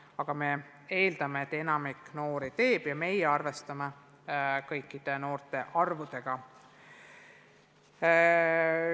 Aga me eeldame, et enamik noori eksami teeb, ja meie arvestame kõikide noorte arvuga.